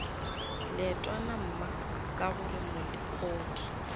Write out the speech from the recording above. leetwana mma ka gore molekodi